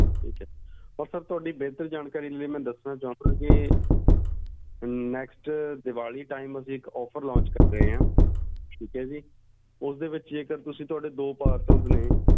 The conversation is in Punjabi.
ਠੀਕ ਏ sir ਤੇ ਤੁਹਾਡੀ ਬੇਹਤਰ ਜਾਣਕਾਰੀ ਦੇ ਲਈ ਮੈਂ ਦੱਸਣਾ ਚਾਹੁੰਗਾ next ਦੀਵਾਲੀ ਅਸੀਂ ਇੱਕ pffer ਕਰ ਰਹੇ ਆ ਉਸ ਦੇ ਵਿਚ ਜੇਕਰ ਤੁਸੀਂ ਤੁਹਾਡੇ ਦੋ parcels ਨੇ